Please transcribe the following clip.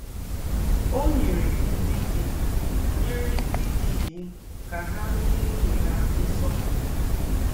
Ó nyèrè ndí́ dì nyèrè ndí́ dì íwụ́ kà há nyẹ́ nwụ́nyẹ̀ há nsọ̀pụ̀rụ̀.